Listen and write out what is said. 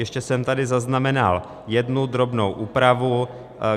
Ještě jsem tady zaznamenal jednu drobnou úpravu.